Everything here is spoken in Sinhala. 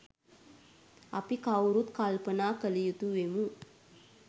අපි කවුරුත් කල්පනා කළ යුතු වෙමු.